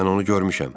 Mən onu görmüşəm.